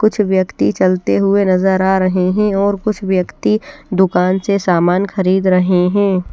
कुछ व्यक्ति चलते हुए नजर आ रहे हैं और कुछ व्यक्ति दुकान से सामान खरीद रहे हैं।